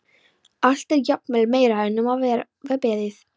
Allt er jafnvel meira en um var beðið.